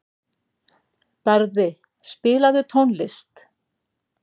Barði, spilaðu tónlist.